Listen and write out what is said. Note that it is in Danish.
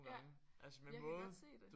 Ja jeg kan godt se det